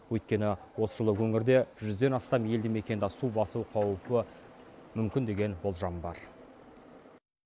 өйткені осы жылы өңірде жүзден астам елді мекенді су басу қаупі мүмкін деген болжам бар